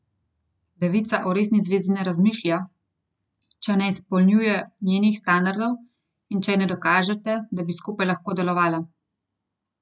Devica o resni zvezi ne razmišlja, če ne izpolnjujete njenih standardov in če ji ne dokažete, da bi skupaj lahko delovala.